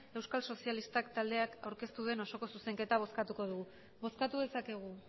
euskal sozialista taldeak aurkeztu duen osoko zuzenketa bozkatuko dugu bozkatu dezakegu